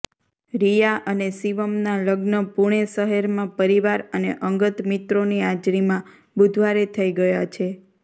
રિયા અને શિવમના લગ્ન પુણે શહેરમાં પરિવાર અને અંગત મિત્રોની હાજરીમાં બુધવારે થઇ ગયા છે